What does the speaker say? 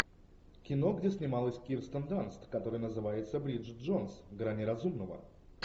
кино где снималась кирстен данст которое называется бриджит джонс грани разумного